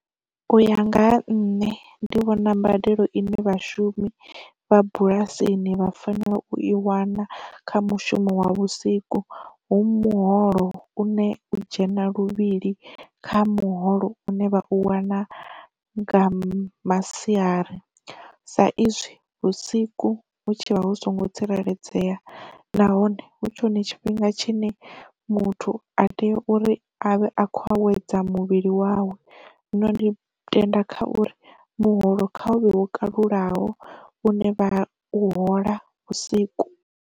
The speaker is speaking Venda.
U ya nga ha nṋe ndi vhona mbadelo ine vhashumi vha bulasini vha fanela u i wana kha mushumo wa vhusiku hu muholo une u dzhena luvhili kha muholo une vha u wana nga masiari, sa izwi vhusiku hu tshivha hu songo tsireledzea nahone hu tshi hone tshifhinga tshine muthu a tea u uri a vhe a khou a wedza muvhili wawe, zwino ndi tenda kha uri muholo kha u vhe wo kalulaho une vha u hola vhusiku.